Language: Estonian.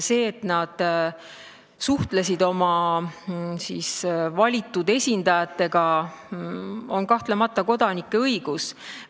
See, et nad suhtlesid oma valitud esindajatega, on kahtlemata nende kui kodanike õigus.